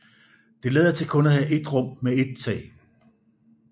Det lader til kun at have et rum med et tag